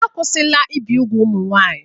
Akwụsịla ibi úgwù ụmụ nwanyị.